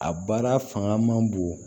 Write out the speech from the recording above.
A baara fanga man bon